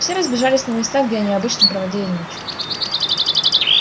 все разбежались на места где они обычно проводили ночь